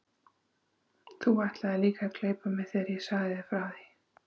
Þú ætlaðir líka að gleypa mig þegar ég sagði þér frá því.